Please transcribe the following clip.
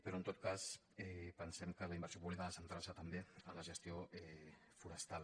però en tot cas pensem que la inversió pública ha de centrar·se també en la ges·tió forestal